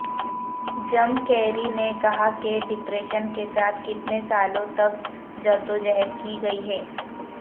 جم Carrey نے کہا کہ ڈپریشن کے ساتھ کتنے سالوں تک جدوجہد کی گئی ہے